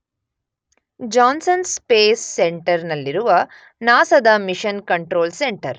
John ಸನ್ Space Center ನಲ್ಲಿರುವ NASA ದ mission control centre